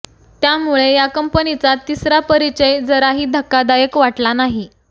त्यामुळे या कंपनीचा तिसरा परिचय जराही धक्कादायक वाटला नाही